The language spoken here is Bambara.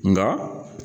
Nka